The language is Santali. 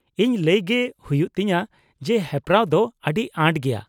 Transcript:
ᱼᱤᱧ ᱞᱟᱹᱭ ᱜᱮ ᱦᱩᱭᱩᱜ ᱛᱤᱧᱟᱹ ᱡᱮ ᱦᱮᱯᱨᱟᱣ ᱫᱚ ᱟᱹᱰᱤ ᱟᱸᱴ ᱜᱮᱭᱟ ᱾